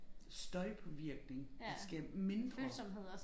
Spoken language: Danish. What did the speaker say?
Støjpåvirkning der skal mindre